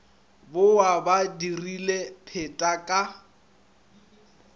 bowa ba dirile pheta ka